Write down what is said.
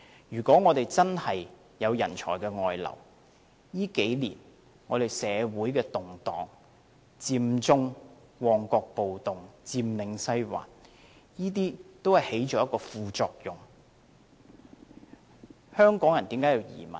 如果我們真的有人才外流的情況，這數年間，社會的動盪，佔中、旺角暴動、佔領西環，都在一定程度上導致了這個問題。